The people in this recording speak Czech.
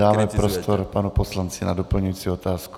Dáme prostor panu poslanci na doplňující otázku.